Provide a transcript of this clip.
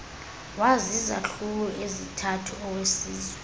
wazizahlulo ezithathu owesizwe